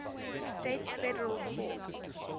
states federal courts